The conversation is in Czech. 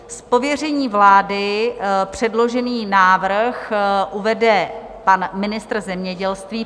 Z pověření vlády předložený návrh uvede pan ministr zemědělství.